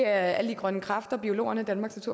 alle de grønne kræfter biologerne danmarks